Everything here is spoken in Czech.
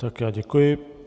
Tak já děkuji.